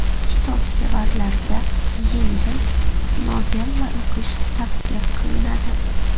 Kitobsevarlarga yengil novella o‘qish tavsiya qilinadi.